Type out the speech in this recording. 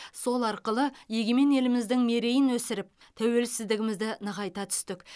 сол арқылы егемен еліміздің мерейін өсіріп тәуелсіздігімізді нығайта түстік